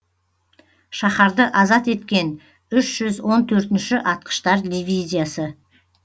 шаһарды азат еткен үш жүз он төртінші атқыштар дивизиясы